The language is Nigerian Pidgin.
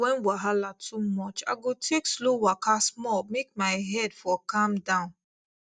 when wahala too much i go take slow waka small make my head for calm down